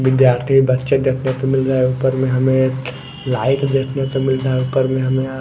विद्यार्थी बच्चे देखने को मिल रहा है ऊपर में हमें एक लाइट देखने को मिल रहा है ऊपर में हमें आ --